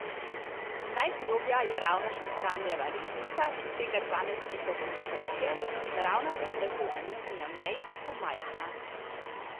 Najgloblja je ravno Šekoranjeva repnica, ki sega dvanajst metrov pod površje, naravna temperaturna nihanja v njej pa so majhna.